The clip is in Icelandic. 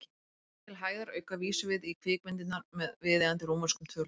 Til hægðarauka vísum við í kvikmyndirnar með viðeigandi rómverskum tölum.